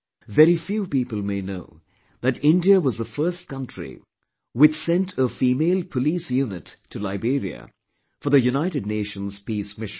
Very few people may know that India was the first country which sent a female police unit to Liberia for the United Nations Peace Mission